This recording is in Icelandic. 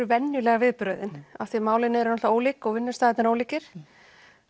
venjuleg viðbrögðin því málin eru ólík og vinnustaðirnir ólíkir